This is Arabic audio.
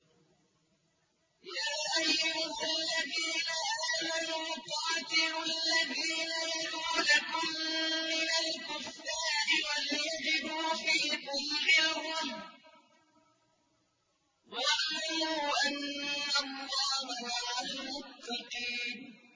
يَا أَيُّهَا الَّذِينَ آمَنُوا قَاتِلُوا الَّذِينَ يَلُونَكُم مِّنَ الْكُفَّارِ وَلْيَجِدُوا فِيكُمْ غِلْظَةً ۚ وَاعْلَمُوا أَنَّ اللَّهَ مَعَ الْمُتَّقِينَ